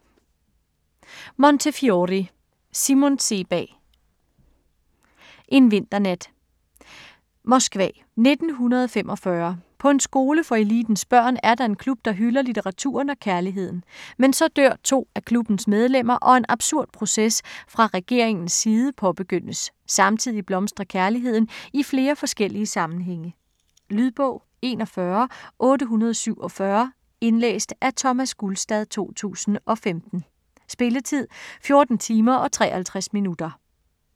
Montefiore, Simon Sebag: En vinternat Moskva 1945. På en skole for elitens børn, er der en klub der hylder litteraturen og kærligheden. Men så dør to af klubbens medlemmer og en absurd proces fra regeringens side påbegyndes. Samtidig blomstrer kærligheden i flere forskellige sammenhænge. Lydbog 41847 Indlæst af Thomas Gulstad, 2015. Spilletid: 14 timer, 53 minutter.